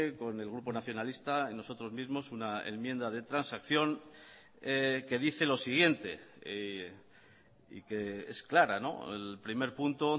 con el grupo nacionalista y nosotros mismos una enmienda de transacción que dice lo siguiente y que es clara el primer punto